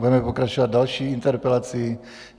Budeme pokračovat další interpelací.